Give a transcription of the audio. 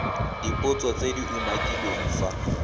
dipotso tse di umakiliweng fa